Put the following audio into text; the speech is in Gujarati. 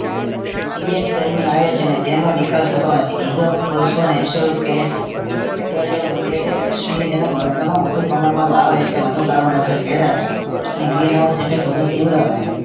સૂર્યની ગરમી આવે છે ને તેનો નિકાલ થતો નથી diesel, કોલસો, gas petroleum વગેરે અશ્મીજન્ય બળતણો વધુ પ્રમાણમાં બાળો એટલે વધુ carbon dioxide પેદા થાય અને green house effect વધુ તીવ્ર બને